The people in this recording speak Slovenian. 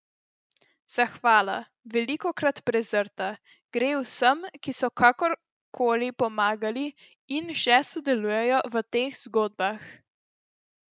Zahvala, velikokrat prezrta, gre vsem, ki so kakor koli pomagali in še sodelujejo v teh zgodbah.